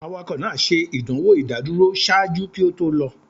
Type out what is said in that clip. Awakọ naa ṣe idanwo idaduro ṣaaju ki o to lọ.